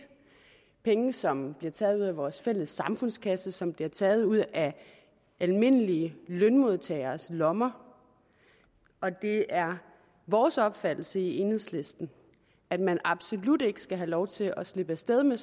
penge som bliver taget ud af vores fælles samfundskasse som bliver taget ud af almindelige lønmodtageres lommer det er vores opfattelse i enhedslisten at man absolut ikke skal have lov til at slippe af sted med